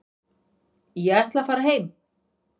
Ég ætla að fara heim.